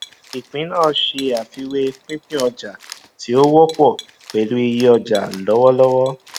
ìpín náà ṣe àfiwé pínpín ọjà tí ó wọpọ pẹlú iye ọjà lọwọlọwọ